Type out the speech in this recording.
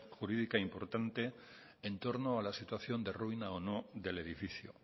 jurídica importante en torno a la situación de ruina o no del edificio